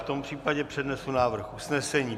V tom případě přednesu návrh usnesení.